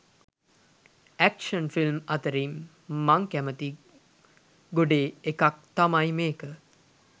Action film අතරින් මම කැමති ගොඩේ එකක් තමයි මේක.